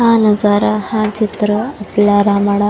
हा नजारा हा चित्र आपला रानडा--